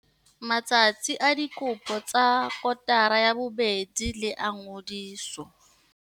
Matsatsi a dikopo tsa kotara ya bobedi le a ngodiso.